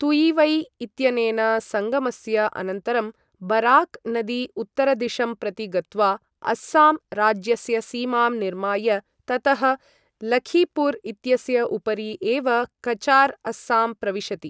तुयिवै इत्यनेन सङ्गमस्य अनन्तरं, बराक् नदी उत्तरदिशं प्रति गत्वा अस्साम् राज्यस्य सीमां निर्माय ततः लखीपूर् इत्यस्य उपरि एव कचार् अस्सां प्रविशति।